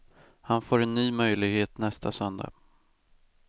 Han får en ny möjlighet nästa söndag.